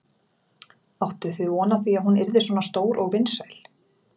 Áttuð þið von á því að hún yrði svona stór og vinsæl?